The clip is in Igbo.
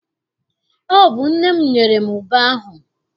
Ọ bụ nne m nyere m ube ahụ.